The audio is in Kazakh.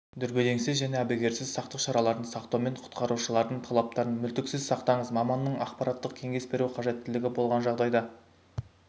дүрбелеңсіз және әбігерсіз сақтық шараларын сақтаумен құтқарушылардың талаптарын мүлтіксіз сақтаңыз маманның ақпараттық-кеңес беру қажеттілігі болған жағдайда